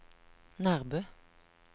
Nærbø